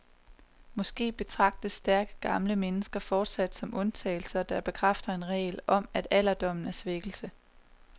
Måske betragtes stærke gamle mennesker fortsat som undtagelser, der bekræfter en regel om, at alderdommen er svækkelse.